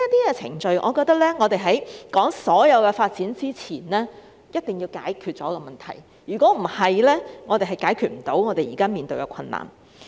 因此，在談論所有發展前，一定要解決這些程序上的問題，否則便無法解決現時所面對的困難。